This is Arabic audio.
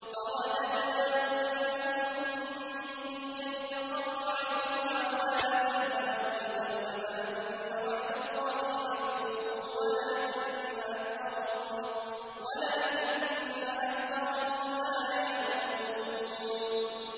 فَرَدَدْنَاهُ إِلَىٰ أُمِّهِ كَيْ تَقَرَّ عَيْنُهَا وَلَا تَحْزَنَ وَلِتَعْلَمَ أَنَّ وَعْدَ اللَّهِ حَقٌّ وَلَٰكِنَّ أَكْثَرَهُمْ لَا يَعْلَمُونَ